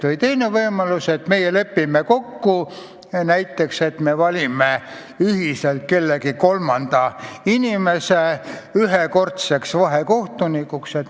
Või teine võimalus: me lepime kokku, et valime ühiselt kellegi kolmanda inimese ühekordseks vahekohtuniks.